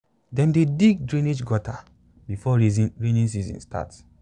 dem dey dig drainage gutter before rainy season start.